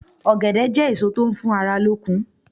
Ògèdè jé èso tó n fún ara lókun